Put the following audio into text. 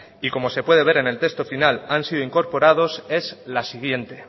y como se puede ver en el texto final han sido incorporados es la siguiente